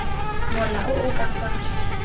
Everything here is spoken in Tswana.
mola o o ka fa